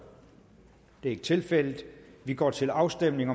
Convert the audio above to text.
det er ikke tilfældet og vi går til afstemning